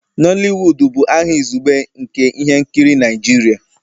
Nooliwudu bụ aha izugbe nke ihe nkiri Naijiria